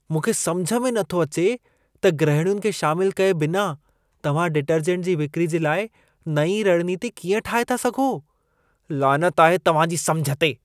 मूंखे समिझ में नथो अचे त गृहिणियुनि खे शामिलु कए बिना तव्हां डिटर्जेंट जी विक्री जे लाइ नईं रणनीती कीअं ठाहे था सघो? लानत आहे तव्हां जी समिझ ते।